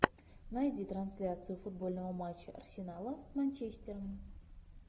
найди трансляцию футбольного матча арсенала с манчестером